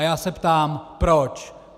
A já se ptám proč.